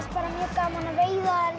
gaman að veiða